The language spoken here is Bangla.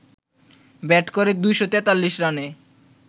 ব্যাট করে ২৪৩ রানে